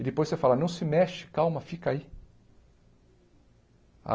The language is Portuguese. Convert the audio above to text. E depois você fala, não se mexe, calma, fica aí.